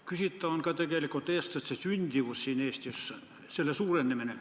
Küsitav on ka tegelikult eestlaste sündimus siin Eestis, selle suurenemine.